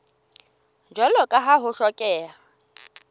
jwalo ka ha ho hlokeha